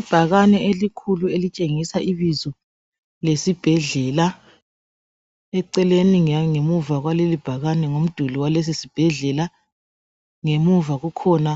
ibhakane elikhulu elitshengisa ibizo lesibhedlela eceleni ngangemuva kwaleli bhakane phambili kwalesi sibhedlela ngemuva kukhona